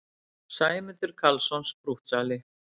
Sæmundur Karlsson, sprúttsali!